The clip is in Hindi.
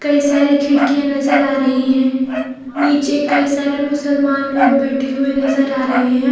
कई सारी खिड़कियाँ नज़र आ रही है नीचे कई सारे मुसलमान लोग बैठे हुए नज़र आ रहे हैं।